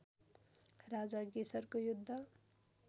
राजा गेसरको युद्ध